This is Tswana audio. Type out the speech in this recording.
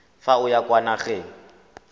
fa o ya kwa nageng